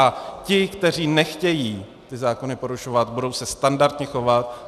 A ti, kteří nechtějí ty zákony porušovat, budou se standardně chovat.